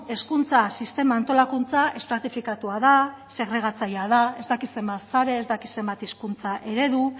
hezkuntza sistema antolakuntza estratifikatua da segregatzailea da ez dakit zenbat sare ez dakit zenbat hizkuntza eredu